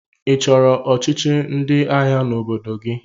Ị chọrọ ọchịchị ndị agha n'obodo gị?